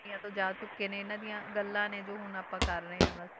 ਦੁਨੀਆਂ ਤੋਂ ਜਾ ਚੁੱਕੇ ਨੇ ਇਹਨਾਂ ਦੀਆਂ ਗੱਲਾਂ ਨੇ ਜੋ ਹੁਣ ਆਪਾਂ ਕਰ ਰਹੇ ਹਾਂ ਬਸ,